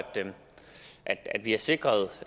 vi har sikret